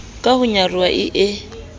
ka ho nyaroha e e